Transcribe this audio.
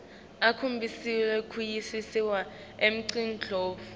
akhombise kuvisisa imicondvo